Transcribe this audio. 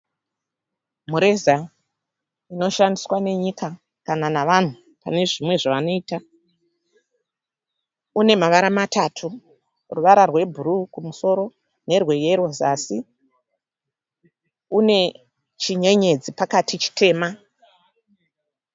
Mureza unoshandiswa nenyika kana navanhu pane zvimwe zvavanoita. Une mavara matatu. Ruvara rwebhuru kumusoro nerweyero zasi. Une chinyenyedzi pakati chitema.